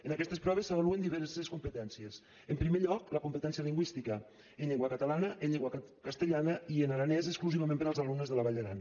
en aquestes proves s’avaluen diverses competències en primer lloc la competència lingüística en llengua catalana en llengua castellana i en aranès exclusivament per als alumnes de la vall d’aran